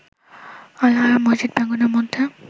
Al-Haram মসজিদ প্রাঙ্গণের মধ্যে